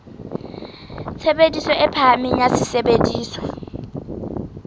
tshebediso e phahameng ya sesebediswa